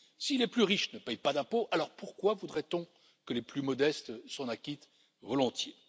Si les plus riches ne paient pas d'impôts, alors pourquoi voudrait on que les plus modestes s'en acquittent volontiers?